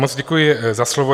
Moc děkuji za slovo.